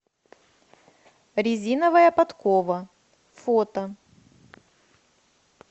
резиновая подкова фото